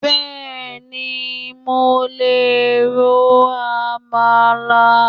Bẹ́ẹ̀ni, mo lè ro Amala